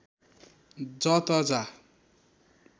ज त जा